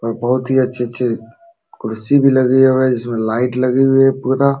और बहुत ही अच्छे अच्छे कुर्सी भी लगे हुए हैं। जिसमें लाइट लगे हुए है पूरा।